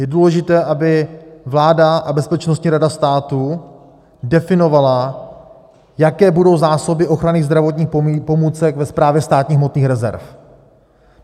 Je důležité, aby vláda a Bezpečnostní rada státu definovaly, jaké budou zásoby ochranných zdravotních pomůcek ve Správě státních hmotných rezerv.